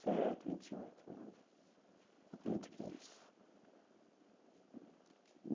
sete, vinte e oito anos. Acredito que é isso.